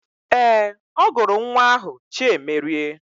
Ee, ọ gụrụ nwa ahụ Chiemerie